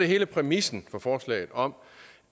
hele præmissen for forslaget om